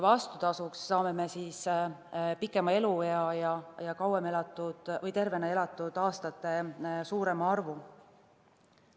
Vastutasuks saame pikema eluea ja tervena elatud aastate suurema arvu.